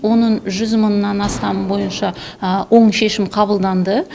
оның жүз мыңнан астамы бойынша оң шешім қабылданды